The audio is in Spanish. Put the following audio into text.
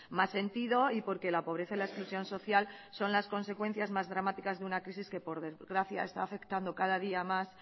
más sentido y porque la pobreza y la exclusión social son las consecuencias más dramáticas de una crisis que por desgracia está afectando cada día a más